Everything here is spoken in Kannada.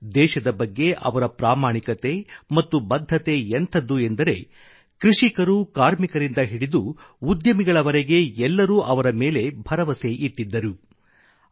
ದೇಶದ ಬಗ್ಗೆ ಅವರ ಪ್ರಾಮಾಣಿಕತೆ ಮತ್ತು ಬದ್ಧತೆ ಎಂಥದ್ದು ಎಂದರೆ ಕೃಷಿಕರು ಕಾರ್ಮಿಕರಿಂದ ಹಿಡಿದು ಉದ್ಯಮಿಗಳವರೆಗೆ ಎಲ್ಲರೂ ಅವರ ಮೇಲೆ ಭರವಸೆ ಇಟ್ಟಿದ್ದರು